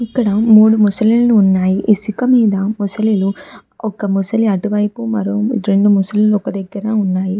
ఇక్కడ మూడు మొసళ్ళు వున్నాయ్ ఇసుక మీద మొసళ్ళు ఒక ముసలి అటు వైపు రెండు ముసళ్ల ఒక దగ్గర ఉన్నాయి.